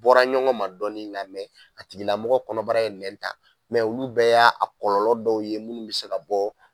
Bɔra ɲɔgɔn ma dɔɔni nga mɛn a tigilamɔgɔ kɔnɔbara ye nɛn ta mɛ olu bɛɛ y'a kɔlɔ dɔw ye minnu be se ka bɔ